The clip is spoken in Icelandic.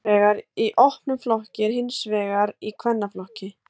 annars vegar í opnum flokki og hins vegar í kvennaflokki